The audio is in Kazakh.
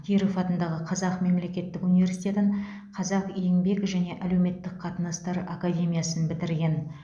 киров атындағы қазақ мемлекеттік университетін қазақ еңбек және әлеуметтік қатынастар академиясын бітірген